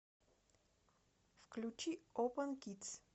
включи опэн кидс